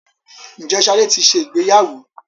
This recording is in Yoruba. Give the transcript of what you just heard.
Ǹjẹ́ Ṣadé ti ṣe ìgbéyàwó?